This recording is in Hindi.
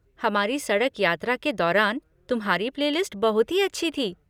हमारी सड़क यात्रा के दौरान तुम्हारी प्ले लिस्ट बहुत ही अच्छी थी।